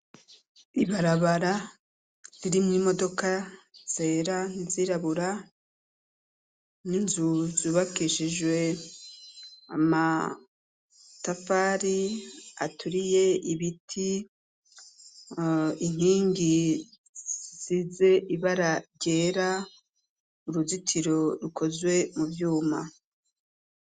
Ibarabara, ririmwo imodoka zera, n'izirabura, n'inzu zubakishijwe amatafari aturiye, ibiti, inkingi size ibara ryera, uruzitiro, rukozwe mu vyuma.